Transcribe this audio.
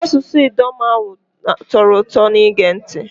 Asụsụ Idoma ahu tọrọ ụtọ n'ige ntị.